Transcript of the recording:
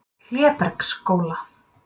Klébergsskóla